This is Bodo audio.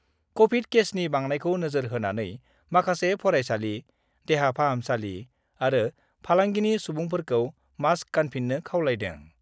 कभिड केसनि बांनायखौ नोजोर होनानै माखासे फरायसालि, देहा फाहामसालि आरो फालांगिनि सुबुंफोरखौ मास्क गानफिन्नो खावलायदों।